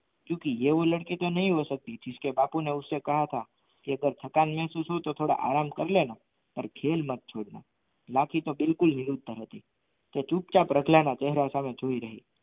ક્યુકી યે વો લડકેકા નહીં હો સકતી જીસકે બાપુ ને ઉસકો કહાથા કે અગર ઠકન મેહસૂસ હો તો થોડા આરામ કાર લેના પર ખેલ મત છોડના બાકી તો બિલકુલ તે ચૂપચાપ રતલા ના ચેહરા સહમે જોઈ રહી